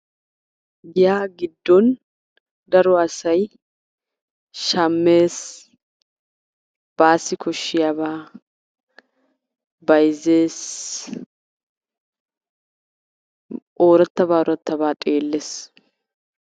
giyaa giddon daro asay shammes, baassi koshshiyabaa bayzzes orattabaa orattabaa xeelles.